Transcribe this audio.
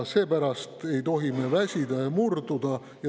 Seepärast ei tohi me väsida ja murduda.